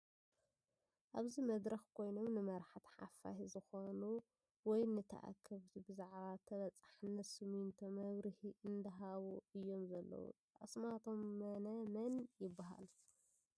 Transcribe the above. ኣብዚ መድረኽ ኮይኖም ንመራኸብቲ ሓፋሽ ዝሾኑ ወይም ንተኣከብቲ ብዛዕባ ተበፃሕነት ሰሚንቶ መብርሂ እንዳሃቡ እዮም ዘለዉ ፡ ኣስማቶም መነ መን ይበሃሉ ?